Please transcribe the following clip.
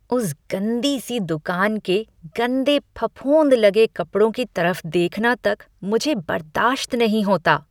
उस गंदी सी दुकान के गंदे फफूंद लगे कपड़ों की तरफ देखना तक मुझे बर्दाश्त नहीं होता।